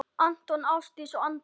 Anton, Ásdís og Andri.